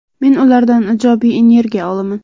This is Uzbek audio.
Men ulardan ijobiy energiya olaman.